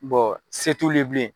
se t'ulu ye bilen.